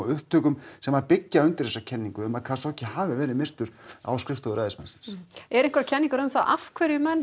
upplýsingum sem byggja undir þessa kenningu um að hafi verið myrtur á skrifstofu ræðismannsins eru einhverjar kenningar um það af hverju menn